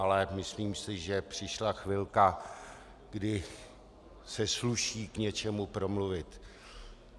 Ale myslím si, že přišla chvilka, kdy se sluší k něčemu promluvit.